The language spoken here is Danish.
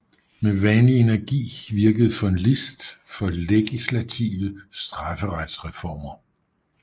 Med vanlig energi virkede von Liszt for legislative strafferetsreformer